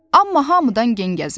Amma hamıdan gen gəzir.